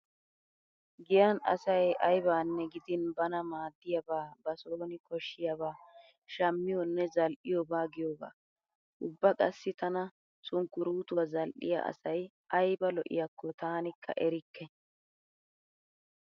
Giyan asay aybanne gidin bana maaddiyabaa ba sooni koshshiyabaa shammiyonne zal"iyoba giyogaa. Ubba qassi tana sunkkuruutuwa zal"iya asay ayba lo'iyakko taanikka erikke.